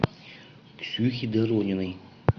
ксюхи дорониной